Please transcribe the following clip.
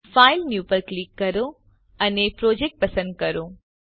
file new પર click કરો અને પ્રોજેક્ટ પસંદ કરો